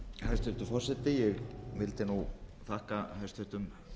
hæstvirtur forseti ég vildi þakka hæstvirtum